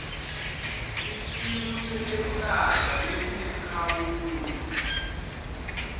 sikimu setekwelashwa lesinemkhawulo